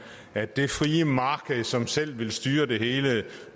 at det frie marked som selv vil styre det hele